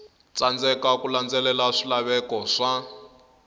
tsandzeka ku landzelela swilaveko swa